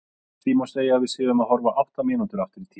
því má segja að við séum að horfa átta mínútur aftur í tímann